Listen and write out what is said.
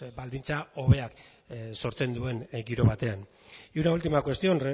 baldintzak hobeak sortzen duen giro batean y una última cuestión